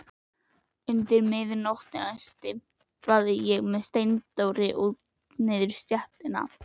Undir miðnóttina stimpast ég með Steindóri niður stéttina.